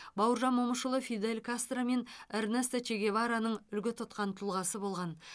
бауыржан момышұлы фидель кастро мен эрнесто че гевараның үлгі тұтқан тұлғасы болған